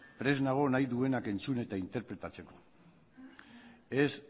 prest nago nahi duenak entzun eta interpretatzeko ez